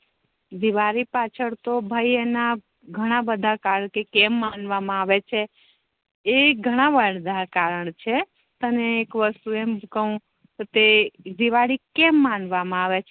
દિવાળી પાછળ તો ભાઈ એના ગણા બધા કારણ કે કેમ માનવા મા આવે છે એ ગેના બધા કારણ છે તને એક વસ્તુ એમ કવ તે દિવાળી કેમ માનવા મા આવે છે